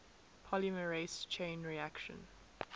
polymerase chain reaction